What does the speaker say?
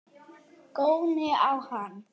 Góni á hana.